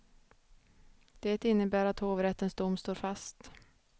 Det innebär att hovrättens dom står fast.